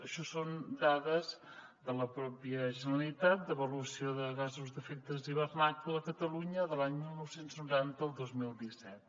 això són dades de la pròpia generalitat d’avaluació de gasos d’efecte hivernacle a catalunya de l’any dinou noranta el dos mil disset